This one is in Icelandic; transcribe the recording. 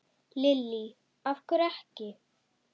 Lillý: Af hverju ekki?